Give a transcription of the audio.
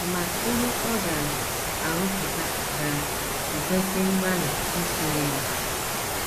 Ma ihe ọ ga - arụpụta ga - ekwesị mgbalị i tinyere!